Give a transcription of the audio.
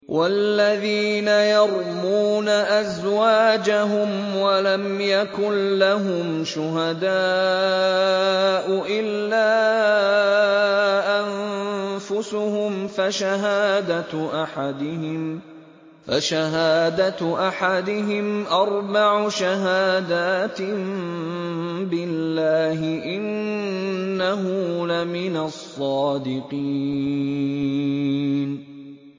وَالَّذِينَ يَرْمُونَ أَزْوَاجَهُمْ وَلَمْ يَكُن لَّهُمْ شُهَدَاءُ إِلَّا أَنفُسُهُمْ فَشَهَادَةُ أَحَدِهِمْ أَرْبَعُ شَهَادَاتٍ بِاللَّهِ ۙ إِنَّهُ لَمِنَ الصَّادِقِينَ